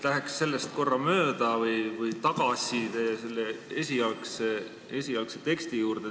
Läheks aga korraks tagasi esialgse teksti juurde.